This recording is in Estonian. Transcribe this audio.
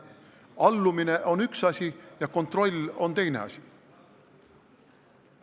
Allumine on üks asi ja kontroll on teine asi.